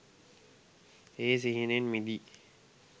ඒ සිහිනෙන් මිදී